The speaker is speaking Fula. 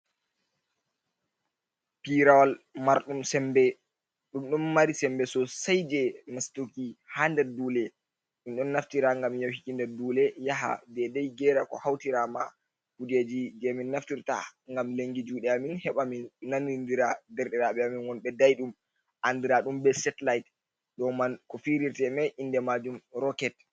Pirawal marɗum sembe. Ɗumdum mari sembe so sai je nastuki ha ɗer ɗule. min don naftirta gam yahiki nder ɗule yaha ɗeɗai gera ko hautira ma kujeji je min naftirta gam lengi juɗe amin l. Heɓa min nanninɗira ɗerɗiraɓe amin won be daiɗum andira ɗum be setlait l. Ɗoman ko firirte mai inɗemajum roket.